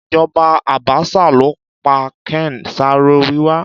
Ìjoba Àbásà ló pa Ken Saro Wiwa